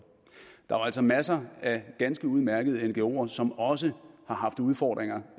altså masser af ganske udmærkede ngoer som også har haft udfordringer